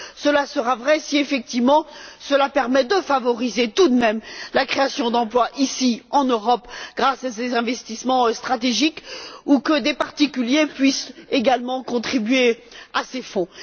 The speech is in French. Cela sera vrai si effectivement cela permet de favoriser tout de même la création d'emplois ici en Europe grâce à ces investissements stratégiques ou permet que des particuliers puissent également contribuer à ces fonds.